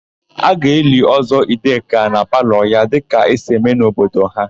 A ga-eli Ọ́zọ́ Ideka na palọ ya dịka esi eme n'obodo ha.